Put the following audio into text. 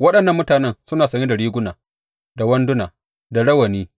Waɗannan mutanen suna sanye da riguna, da wanduna, da rawani